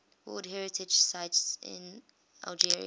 world heritage sites in algeria